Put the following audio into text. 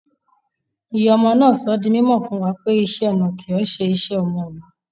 Ìyá ọmọ náà sọ̀ dí mòmò fún wa pé ìṣẹ̀-ọnà kí ọ̀ṣè ìṣẹ̀-ọmọ ọun